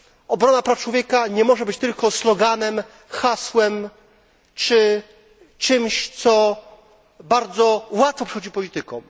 Obrona praw człowieka nie może być tylko sloganem, hasłem czy czymś, co bardzo łatwo przychodzi politykom.